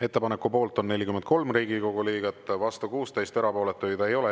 Ettepaneku poolt on 43 Riigikogu liiget, vastu 16, erapooletuid ei ole.